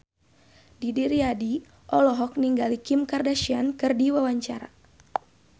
Didi Riyadi olohok ningali Kim Kardashian keur diwawancara